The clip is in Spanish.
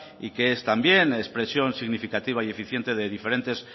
y que es también expresión significativa y eficiente de diferentes